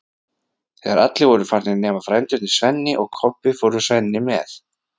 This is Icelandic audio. Þegar allir voru farnir nema frændurnir Svenni og Kobbi fór Svenni með